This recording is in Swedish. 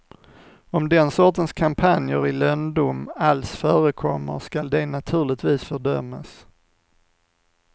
Om den sortens kampanjer i lönndom alls förekommer skall de naturligtvis fördömas.